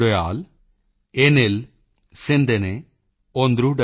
ਮੁੱਪੜੂ ਕੋਡੀ ਮੁਗਾਮੁਦਾਯਲ ਏਨਿਲ ਮਾਈਪੁਰਮ ਓਂਦਰੁਦਯਾਲ